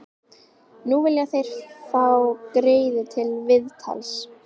Nú vilja þeir fá Gerði til viðtals.